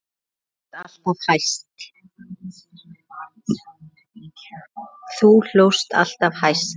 Þú hlóst alltaf hæst.